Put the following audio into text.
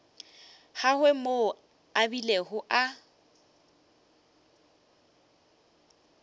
gagwe moo a bilego a